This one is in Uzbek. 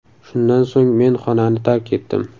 Shundan so‘ng men xonani tark etdim.